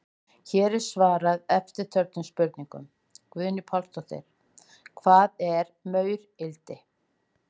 Hér er svarað eftirtöldum spurningum: Guðný Pálsdóttir: Hvað er maurildi?